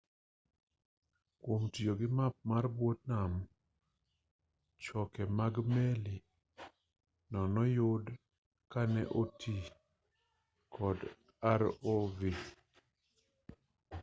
kwom tiyo gi map mar bwo nam choke mag meli no noyudi ka ne oti kod rov